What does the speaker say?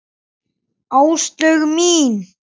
Áslaug mín!